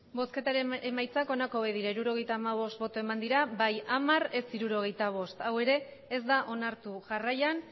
emandako botoak hirurogeita hamabost bai hamar ez hirurogeita bost hau ere ez da onartu jarraian